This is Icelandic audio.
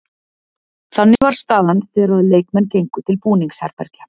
Þannig var staðan þegar að leikmenn gengu til búningsherbergja.